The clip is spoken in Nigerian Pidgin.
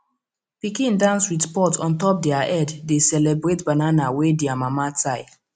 pikin dance with pot on top their head dey celebrate banana wey their mama tie